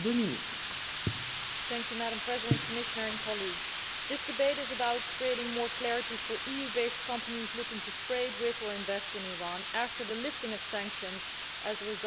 Madam President, Commissioner and colleagues, this debate is about creating more clarity for EU based companies looking to trade with or invest in Iran after the lifting of sanctions as a result of the nuclear deal.